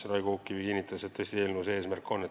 Raigo Uukkivi kinnitas, et eelnõul see eesmärk tõesti on.